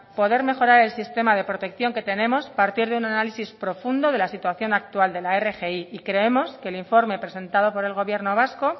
poder mejorar el sistema de protección que tenemos partir de un análisis profundo de la situación actual de la rgi y creemos que el informe presentado por el gobierno vasco